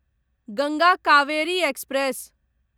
Ganga Kaveri express